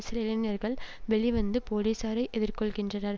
சில இளைஞர்கள் வெளிவந்து போலீசாரை எதிர்கொள்கின்றனர்